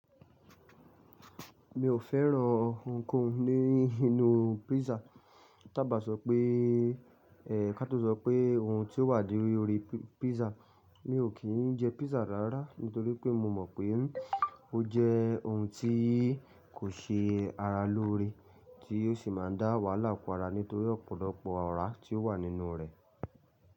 Mi ò fẹ́ran ohunkóhun ní inú písà. Tábà sọ pé, ká tó sọ pé ohun tí ó wà lórí orí písà. Mi ò kí jẹ písà rárá nítorí pé mo mọ̀ pé ó jẹ́ ohun tí kò ṣe ara lóore tí yóò si má a dá wàhálà kóra nítorí ọ̀pọ̀lọpọ̀ ọ̀rá tí ó wà nínú rẹ̀.